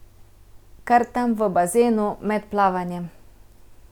Kar tam v bazenu, med plavanjem.